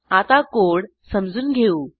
आता कोड समजून घेऊ